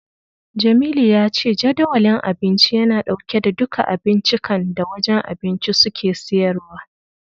Jamilu ya ce Jadawalin Abinci yana dauke da duka abincikan da wajen abinci suke siyarwa.